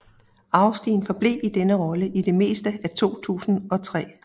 Austin forblev i denne rolle i det meste af 2003